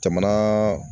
Jamana